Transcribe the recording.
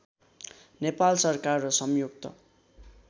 नेपाल सरकार र संयुक्त